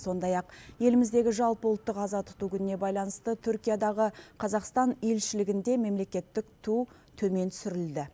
сондай ақ еліміздегі жалпыұлттық аза тұту күніне байланысты түркиядағы қазақстан елшілігінде мемлекеттік ту төмен түсірілді